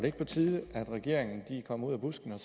ikke på tide at regeringen kommer ud af busken og